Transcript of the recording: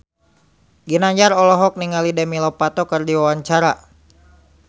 Ginanjar olohok ningali Demi Lovato keur diwawancara